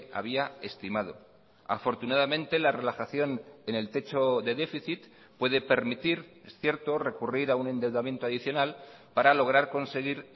había estimado afortunadamente la relajación en el techo de déficit puede permitir es cierto recurrir a un endeudamiento adicional para lograr conseguir